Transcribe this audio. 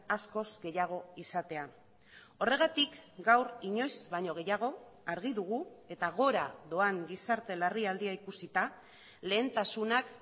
askoz gehiago izatea horregatik gaur inoiz baino gehiago argi dugu eta gora doan gizarte larrialdia ikusita lehentasunak